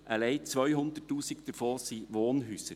Alleine 200’000 davon sind Wohnhäuser.